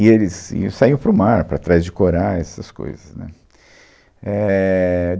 E eles iam saíam para o mar para atrás de corais, essas coisas né, éh.